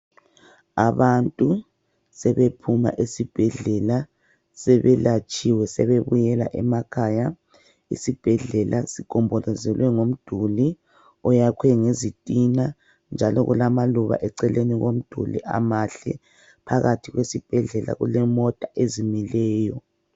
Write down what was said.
Abantu sebephuma esibhedlela, sebelatshiwe, sebebuyela emakhaya. Isibhedlela sigombolozelwe ngomduli oyakhwe ngezitina nja kulamaluba eceleni komduli amahle, phakathi esibhedlela kule mota ezimileyo